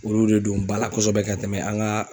Olu de don ba la kɔsɔbɛ ka tɛmɛ an ga